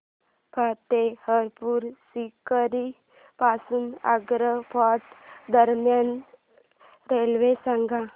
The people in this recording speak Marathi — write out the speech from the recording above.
फतेहपुर सीकरी पासून आग्रा फोर्ट दरम्यान रेल्वे सांगा